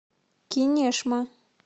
кинешма